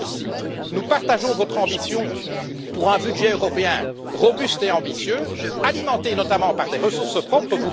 Là aussi, nous partageons votre ambition pour un budget européen robuste et ambitieux, alimenté notamment par des ressources propres.